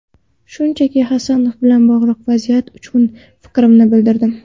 Shunchaki, Hasanov bilan bog‘liq vaziyat uchun fikrimni bildirdim.